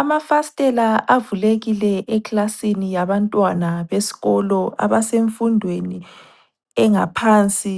Amafasitela avulekile eklasini yabantwana besikolo abasemfundweni engaphansi